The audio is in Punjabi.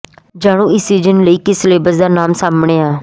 ਜਾਣੋ ਇਸ ਸੀਜਨ ਲਈ ਕਿਸ ਸੈਲੇਬਸ ਦਾ ਨਾਮ ਸਾਹਮਣੇ ਆ